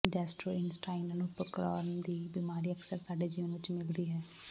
gastrointestinal ਉਪਕਰਣ ਦੀ ਬਿਮਾਰੀ ਅਕਸਰ ਸਾਡੇ ਜੀਵਨ ਵਿੱਚ ਮਿਲਦੀ ਹੈ